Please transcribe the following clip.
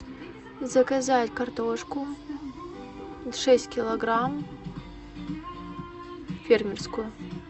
заказать картошку шесть килограмм фермерскую